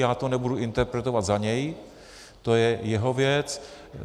Já to nebudu interpretovat za něj, to je jeho věc.